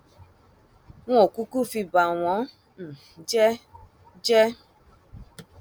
n ò kúkú fi bà wọn um jẹ jẹ